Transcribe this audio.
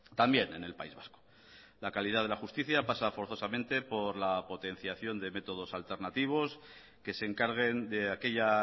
también en el país vasco la calidad de la justicia pasa forzosamente por la potenciación de métodos alternativos que se encarguen de aquella